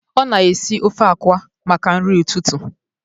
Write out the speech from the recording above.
Ọ na-esi ofe akwa maka nri ụtụtụ